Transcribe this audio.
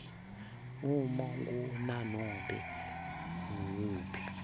uma kunanobe nguwuphi